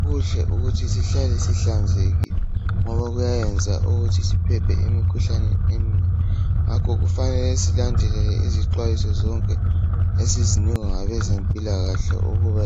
Kuhle ukuthi sihlale sihlanzekile ngoba kuyayenza ukuthi siphephe emkhuhlaneni eminengi ngakho kufanele silandelele izixwayiso zonke esizinikwa ngabezempilakahle ukuba